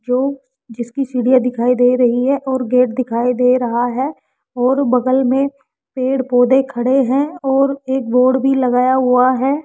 जो जिसकी सीढ़ियां दिखाई दे रही है और गेट दिखाई दे रहा है और बगल में पेड़ पौधे खड़े हैं और एक बोर्ड भी लगाया हुआ है।